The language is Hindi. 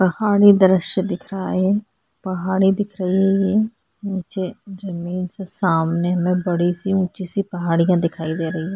पहाड़ी दृश्य दिख रहा है पहाड़ी दिख रही हे ये नीचे जमीन से सामने में बड़ी सी ऊंची-सी पहाड़ियां दिख रही हैं।